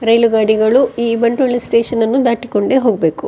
ರೈಲು ಗಾಡಿಗಳು ಈ ಬಂಟ್ವಾಳ ಸ್ಟೇಷನ್ ಅನ್ನು ದಾಟಿ ಕೊಂಡೆ ಹೋಗ್ಬೇಕು.